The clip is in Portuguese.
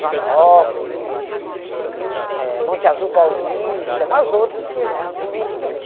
Joanópolis, eh Monte Azul Paulista, umas outras que eu não me lembro.